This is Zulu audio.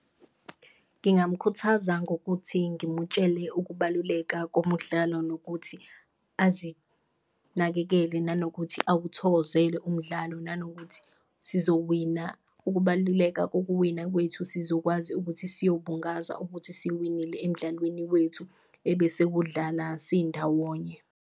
Ngingamkhuthaza ngokuthi ngimutshele ukubaluleka komudlalo nokuthi azinakekele, nanokuthi awuthokozele umdlalo, nanokuthi siyowina. Ukubaluleka kokuwina kwethu sizokwazi ukuthi sayobungaza ukuthi siwinile emdlalweni wethu ebesewudlala sindawonye.